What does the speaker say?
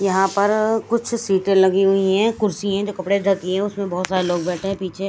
यहाँ पर कुछ सीटे लगी हुई है कुछ सीध कपड़े जो होती है उसमे बहोत सारे लोग बैठे है पीछे।